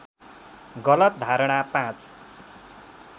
गलत धारणा ५